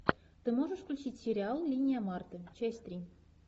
ты можешь включить сериал линия марты часть три